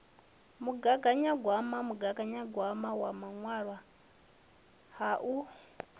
mugaganyagwama mugaganyagwama wa ṋaṅwaha u